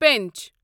پنچ